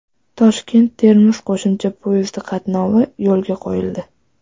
Toshkent-Termiz qo‘shimcha poyezdi qatnovi yo‘lga qo‘yildi.